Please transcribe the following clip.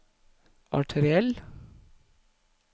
arteriell